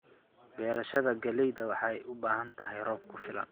Beerashada galleyda waxay u baahan tahay roob ku filan.